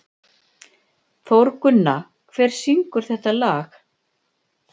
Þórgunna, hver syngur þetta lag?